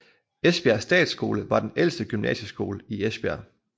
Esbjerg Statsskole var den ældste gymnasieskole i Esbjerg